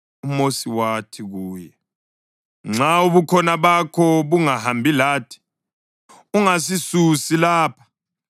UMosi wathi kuye, “Nxa uBukhona bakho bungahambi lathi, ungasisusi lapha.